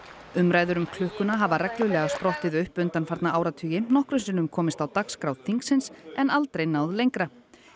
umræður um klukkuna hafa reglulega sprottið upp undanfarna áratugi nokkrum sinnum komist á dagskrá þingsins en aldrei náð lengra